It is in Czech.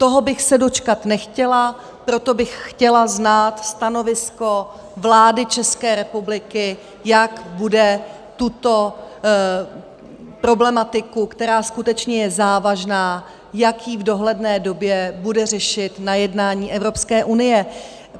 Toho bych se dočkat nechtěla, proto bych chtěla znát stanovisko vlády České republiky, jak bude tuto problematiku, která skutečně je závažná, jak ji v dohledné době bude řešit na jednání Evropské unie.